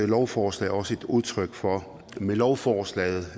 lovforslag også et udtryk for med lovforslaget